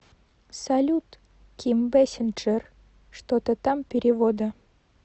салют ким бэсинджер что то там перевода